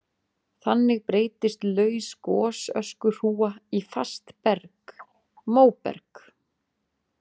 Þannig breytist laus gosöskuhrúga í fast berg, móberg.